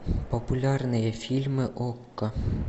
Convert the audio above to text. популярные фильмы окко